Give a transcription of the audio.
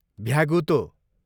भ्यागुतो